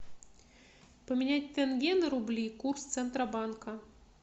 поменять тенге на рубли курс центробанка